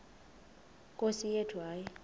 nkosi yethu hayi